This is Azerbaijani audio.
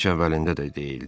Heç əvvəlində də deyildi.